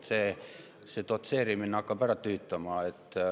See dotseerimine hakkab ära tüütama.